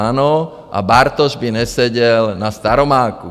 Ano, a Bartoš by neseděl na Staromáku.